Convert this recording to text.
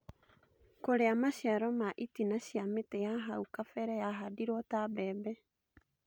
Kũrĩa maciaro ma itina cia mĩtĩ ya hau kabere yahandirwo ta mbembe